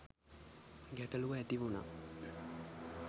ගැටලු ඇතිවුණා